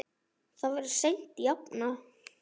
Það verður seint jafnað.